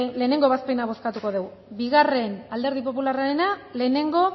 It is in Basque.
lehenengo ebazpena bozkatuko dugu bigarren alderdi popularrarena lehenengo